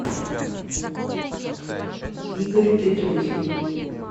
игорь петрухин